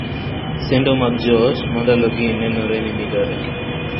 Sendo mag joot ma ndalogi nenore ni midore.